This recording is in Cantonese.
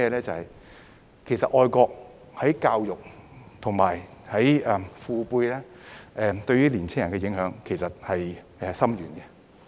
就是其實就愛國而言，教育和父輩對年青人的影響很深遠。